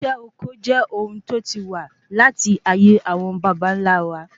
isé oko je ohun tí o ti wa lataye awon babanla wa